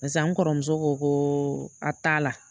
Barisa n kɔrɔmuso ko koo a t'a la.